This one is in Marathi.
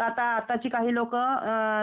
हो हो हो त आता चा काही लोक